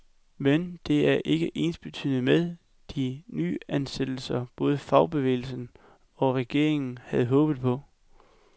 Men det er ikke ensbetydende med de nyansættelser, både fagbevægelsen og regeringen havde håbet på.